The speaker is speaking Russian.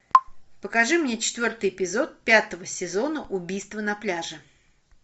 покажи мне четвертый эпизод пятого сезона убийство на пляже